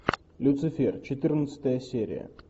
люцифер четырнадцатая серия